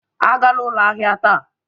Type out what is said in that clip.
Agala ụlọ ahịa taa!